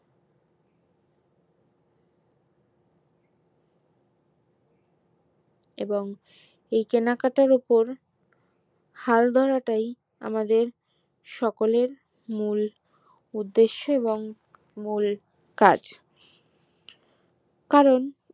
এবং এই কেনাকাটার ওপর হাল ধরাটাই আমাদের সকলের মূল উদাস এবং মূল কাজ কারণ